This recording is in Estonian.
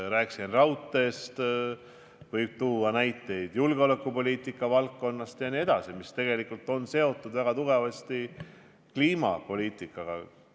Rääkisin raudteest, võib tuua näiteid julgeolekupoliitika valdkonnast, mis tegelikult on seotud väga tugevasti kliimapoliitikaga.